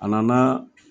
A nana